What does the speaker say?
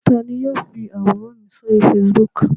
Ta ni yóò fi àwòrán mi sórí Facebook?